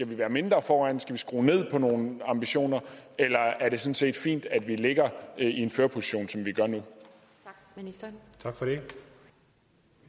være mindre foran skal vi skrue ned på nogle ambitioner eller er det sådan set fint at vi ligger i en førerposition som